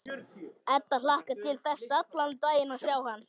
Edda hlakkar til þess allan daginn að sjá hann.